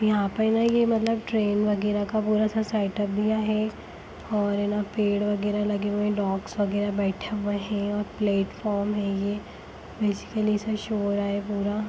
यहाँ पर ना मतलब यह न ट्रेन वगैरह सेटअप दिया हुआ है और ना पेड़ वगैरह लगे हुए है डॉग्स वगैरह बैठे हुए है और प्लेटफार्म है यह बैसिकली शो होग--